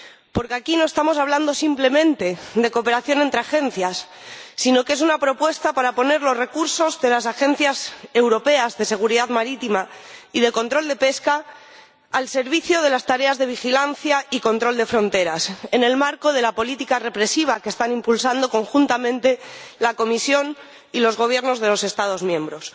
Porque aquí no estamos hablando simplemente de cooperación entre agencias, sino que es una propuesta para poner los recursos de la Agencia Europea de Seguridad Marítima y de la Agencia Europea de Control de Pesca al servicio de las tareas de vigilancia y control de fronteras, en el marco de la política represiva que están impulsando conjuntamente la Comisión y los Gobiernos de los Estados miembros.